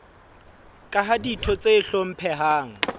ka ha ditho tse hlomphehang